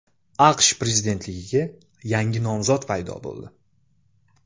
AQSh prezidentligiga yangi nomzod paydo bo‘ldi.